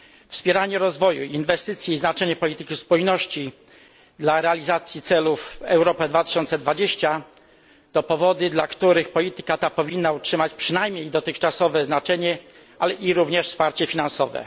Wspieranie rozwoju, inwestycje i znaczenie polityki spójności dla realizacji celów Europa 2020 to powody, dla których polityka ta powinna utrzymać przynajmniej dotychczasowe znaczenie, ale i również wsparcie finansowe.